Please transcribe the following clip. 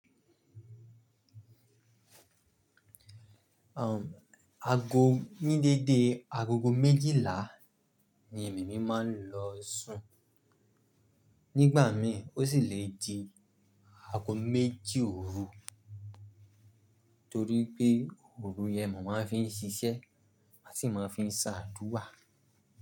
Àgọ ní dédé agogo méjìlá ni èmi mi máa ń lọ sùn. Nígbà mi ò sì lè di aago méjì òru torí pé òru yẹn mo máa fi ń ṣiṣẹ́, a sì máa ń fi ń ṣáàdúrà.